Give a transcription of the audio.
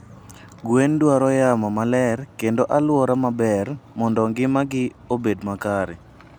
Gwen dwaro yamo maler kendo aluora maber mondo ngima gi obed makare.